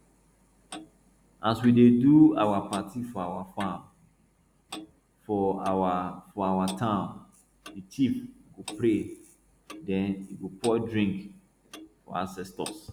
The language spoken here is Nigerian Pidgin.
as we dey do our party for our farm for our for our town the chief go pray then e go pour drink for ancestors